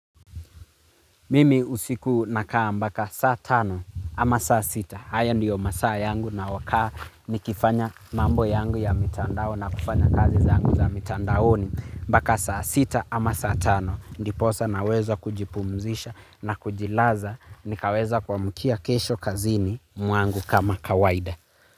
Mimi usiku nakaa mbaka saa tano ama saa sita. Haya ndiyo masaa yangu nayo kaa nikifanya mambo yangu ya mitandao na kufanya kazi zangu za mitandaoni. Mbaka saa sita ama saa tano. Ndiposa naweza kujipumzisha na kujilaza nikaweza kuamkia kesho kazini mwangu kama kawaida.